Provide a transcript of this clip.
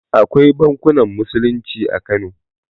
Akwai bankunan musulunci a kano